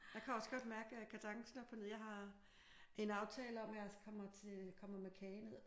Jeg kan også godt mærke at kadencen er på ned jeg har en aftale om at jeg kommer til kommer med kage ned